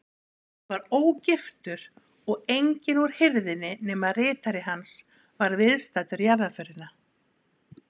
Hann var ógiftur og enginn úr hirðinni nema ritari hans var viðstaddur jarðarförina.